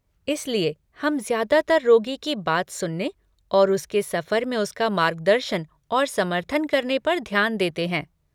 इसलिए हम ज्यादातर रोगी की बात सुनने और उसके सफर में उसका मार्गदर्शन और समर्थन करने पर ध्यान देते हैं।